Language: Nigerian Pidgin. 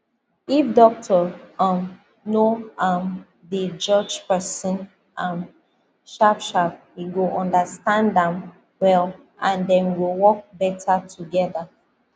if doctor um no um dey judge person um sharpsharp he go understand am well and dem go work better together